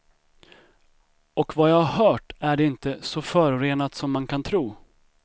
Och vad jag hört är det inte så förorenat som man kan tro.